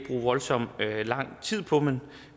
voldsom lang tid på men